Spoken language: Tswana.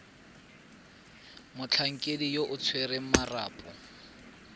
motlhankedi yo o tshwereng marapo